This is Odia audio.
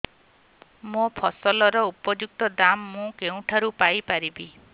ମୋ ଫସଲର ଉପଯୁକ୍ତ ଦାମ୍ ମୁଁ କେଉଁଠାରୁ ପାଇ ପାରିବି